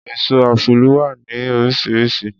Èso Ápúlú wà ní oríṣiríṣi.